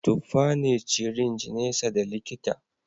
Tuffa ne ciringe nesa da likita